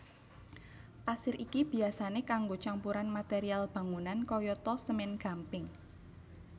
Pasir iki biyasané kanggo campuran material bangunan kayata semèn gamping